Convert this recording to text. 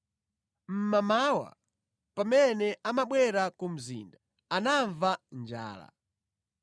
Mmamawa, pamene amabwera ku mzinda, anamva njala.